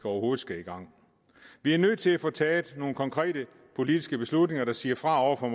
overhovedet skal i gang vi er nødt til at få taget nogle konkrete politiske beslutninger der siger fra over for